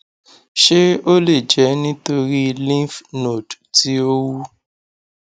ṣé ó lè jẹ nítorí lymph node ti o wu